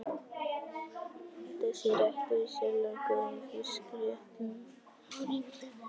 Þessi réttur er sérlega góður með fiskréttum og nýbökuðu brauði.